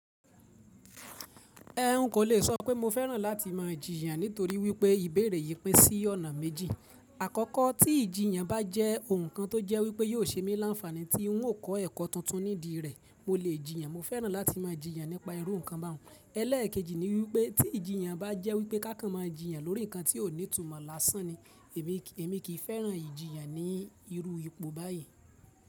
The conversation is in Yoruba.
Ẹn n kò lè sọ pé mo fẹ́ràn láti máa jìyàn nítorí wípé ìbéèrè yìí pín sí ọ̀nà méjì. Àkọ́kọ́ tí ìjiyàn bá jẹ́ ohun kan tó jẹ́ wípé yóò ṣe mí láńfààní tí ń ó kọ́ ẹ̀kọ́ tuntun nídi rẹ̀, mo lè jìyàn. Mo fẹ́ràn láti máa jìyàn nípa irú nǹkan bá un. Elẹ́ẹ̀kejì ni wípé tí ìjiyàn bá jẹ́ wípé kákan máa jìyàn lórí ǹnkan tí ó ní ìtumọ̀ lásán ni, èmi kì í fẹ́ràn ìjiyàn ní irú ipò báyìí.